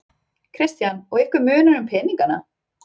Kristján: Og ykkur munar um peningana?